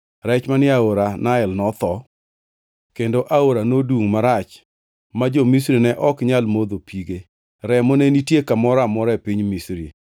Rech manie aora Nael notho, kendo aora nodungʼ marach ma jo-Misri ne ok nyal modho pige. Remo ne nitie kamoro amora e piny Misri.